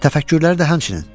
Təfəkkürləri də həmçinin.